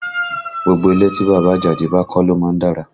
Gbogbo ilé tí bàbá Àjàdí bá kọ́ ló má ń dára